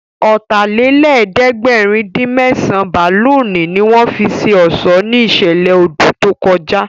Ọ̀tàlélẹ̀ẹ́dẹ́gbẹ̀rin-dín-mẹ́sàn bálùnì ní wọ́n fi ṣe ọ̀ṣọ́ ní ìṣẹ̀lẹ̀ odù tó kọjá